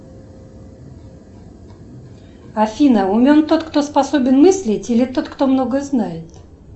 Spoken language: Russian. афина умен тот кто способен мыслить или тот кто много знает